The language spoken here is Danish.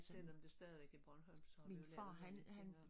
Selvom det stadigvæk er bornholmsk så vi jo lavet mange ting om